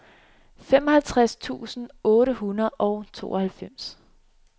femoghalvtreds tusind otte hundrede og tooghalvfems